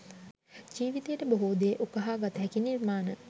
ජීවිතයට බොහෝ දේ උකහා ගතහැකි නිර්මාණ.